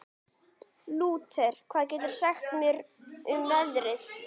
Síðan talar Magnús Fjalldal lektor um tökuorð í íslensku.